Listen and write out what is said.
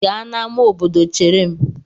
Gaa n'amá obodo chere m!